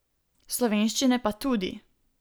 Slovenščine pa tudi.